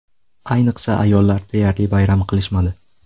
Ayniqsa ayollar deyarli bayram qilishmadi.